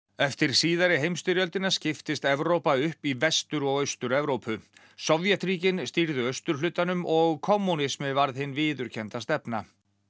eftir síðari heimsstyrjöldina skiptist Evrópa upp í Vestur og Austur Evrópu Sovétríkin stýrðu austurhlutanum og kommúnismi varð hin viðurkennda stefna